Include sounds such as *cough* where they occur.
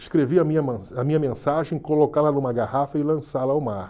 escrevi a minha *unintelligible* a minha mensagem, colocá-la numa garrafa e lançá-la ao mar.